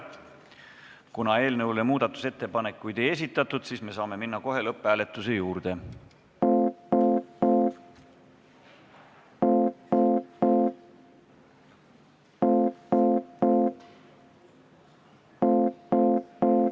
Kuna eelnõu kohta muudatusettepanekuid ei esitatud, siis me saame minna kohe lõpphääletuse juurde.